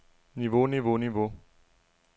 niveau niveau niveau